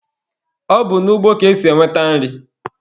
Ọ bụ n'ugbo ka esi enweta nri.